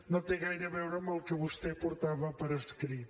no té gaire a veure amb el que vostè portava per escrit